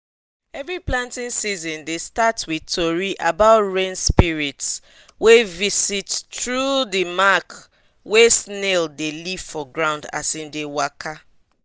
every planting season dey start with tori about rain spirits wey visit through dey mark wey snail dey leave for ground as em dey waka